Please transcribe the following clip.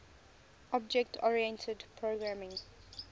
object oriented programming